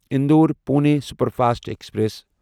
Indore Pune superfast express